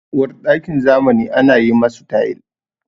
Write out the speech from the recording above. Uwarɗakin zamani ana yi masu tayil.